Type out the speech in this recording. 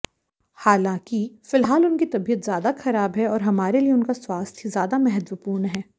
हालांकि फिलहाल उनकी तबियत ज्यादा खराब है और हमारे लिए उनका स्वास्थ ज्यादा महत्वपूर्ण है